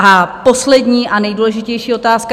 A poslední a nejdůležitější otázka.